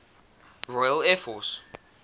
royal air force